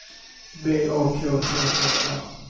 V A K T E R